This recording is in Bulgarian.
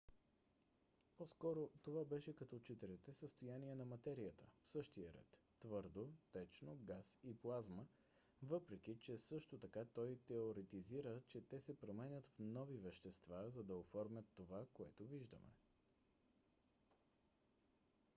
по-скоро това беше като четирите състояния на материята в същия ред: твърдо течно газ и плазма въпреки че също така той теоретизира че те се променят в нови вещества за да оформят това което виждаме